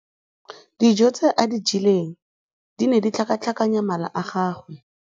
Dijô tse a di jeleng di ne di tlhakatlhakanya mala a gagwe.